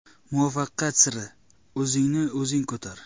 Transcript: Muvaffaqiyat siri: O‘zingni o‘zing ko‘tar.